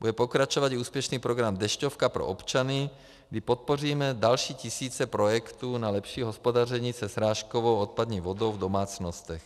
Bude pokračovat i úspěšný program Dešťovka pro občany, kdy podpoříme další tisíce projektů na lepší hospodaření se srážkovou odpadní vodou v domácnostech.